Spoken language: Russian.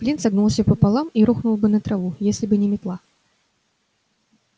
флинт согнулся пополам и рухнул бы на траву если бы не метла